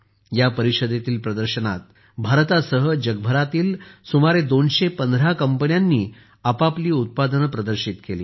या परिषदेतील प्रदर्शनात भारतासह जगभरातील सुमारे 215 कंपन्यांनी आपापली उत्पादने प्रदर्शित केली